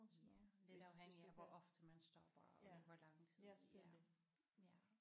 Ja lidt afhængig af hvor ofte man stopper og i hvor lang tid ja ja